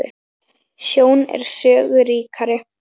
Sjón er sögu ríkari